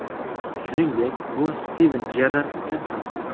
Shuningdek, bu Stiven Jerrard uchun ham.